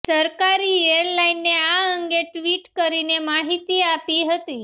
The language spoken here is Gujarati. સરકારી એરલાઈને આ અંગે ટ્વીટ કરીને માહિતી આપી હતી